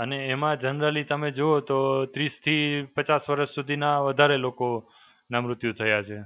અને એમાં generally તમે જુઓ તો ત્રીસ થી પચાસ વર્ષ સુધીના વધારે લોકોનાં મૃત્યુ થયા છે.